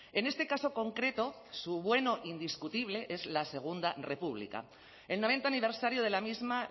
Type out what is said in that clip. en este caso concreto su bueno indiscutible es la segundo república el noventa aniversario de la misma